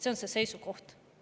See on nende seisukoht.